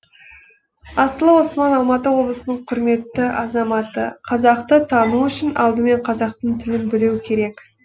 асылы осман алматы облысының құрметті азаматы қазақты тану үшін алдымен қазақтың тілін білу керек